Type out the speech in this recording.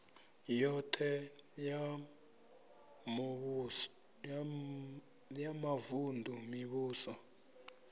yoṱhe ya mavun ḓu mivhuso